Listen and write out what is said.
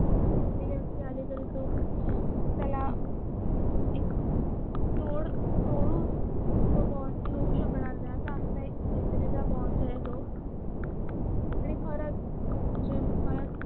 समजा तिसरी व्यक्ती जरी तो त्याला एक तोड तोडून तो तोडू शकणार नाही असा आमचा मैत्रीचा बोंड आहे त आणि खरंच म्हणजे